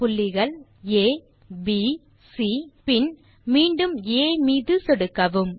புள்ளிகள் abசி பின் மீண்டும் ஆ மீது சொடுக்கவும்